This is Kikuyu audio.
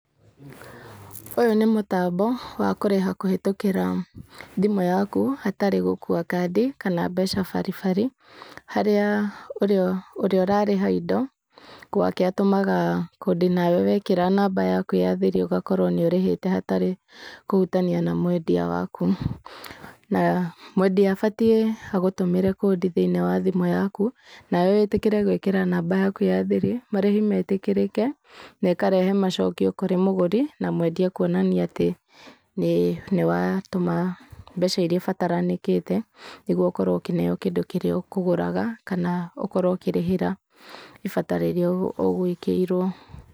Ũyũ nĩ mũtambo, wa kũrĩha kũhĩtũkĩra, thimũ yaku, hatarĩ gũkuua kandi, kana mbeca baribari. Harĩa ũrĩa ũrĩa ũrarĩha indo, gwake atũmaga kũndi nawe wekĩra namba yaku ya thiri ũgakorwo nĩ ũrĩhĩte hatarĩ kũhutania na mwendia waku. Na mwendia abatiĩ agũtũmĩre kũndi thĩinĩ wa thimũ yaku, nawe wĩtĩkĩre gwĩkĩra namba yaku ya thiri, marĩhi metĩkĩrĩke, na ĩkarehe macokio kũrĩ mũgũri na mwendia kuonania atĩ nĩ nĩ watũma mbeca irĩa ibataranĩkĩte nĩguo ũkorwo ũkĩneo kĩndũ kĩrĩa ũkũraga, kana ũkorwo ũkĩrĩhĩra ibata rĩrĩa ũgũĩkĩirwo.